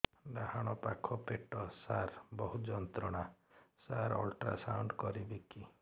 ଡାହାଣ ପାଖ ପେଟ ସାର ବହୁତ ଯନ୍ତ୍ରଣା ସାର ଅଲଟ୍ରାସାଉଣ୍ଡ କରିବି କି